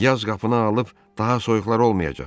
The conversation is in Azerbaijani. Yaz qapını alıb, daha soyuqlar olmayacaq.